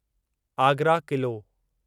Agra Qila